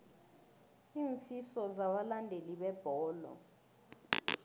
iinfiso zabalandeli bebholo